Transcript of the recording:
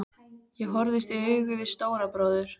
Ég horfðist í augu við Stóra bróður.